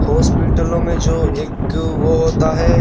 हॉस्पिटलों में जो एक वो होता है।